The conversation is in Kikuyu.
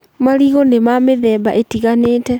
Marigũ nĩ ma mĩtgemba ĩtiganĩte.